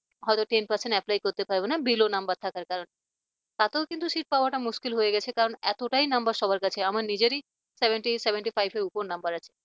হয়তো ten percent apply করতে পারবে না bellow number থাকার কারণে তাতেও কিন্তু seat পাওয়াটা মুশকিল হয়ে গেছে কারণ এতটাই number সবার কাছে আমার নিজেরই seventy seventy five এর উপর number আছে